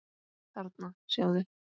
Þarna, sjáðu